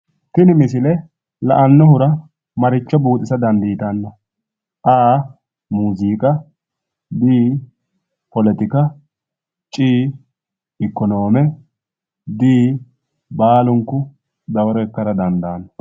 Tini misile la"annohura maricho buuxisa dandiitanno? a. muuziiqa b. polotika c. ikonoome. d. baalunku dawaro ikkara dandaanno.